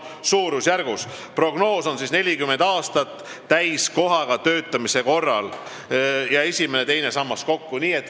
Prognoos kehtib 40 aastat täiskohaga töötamise korral, esimene ja teine sammas kokku.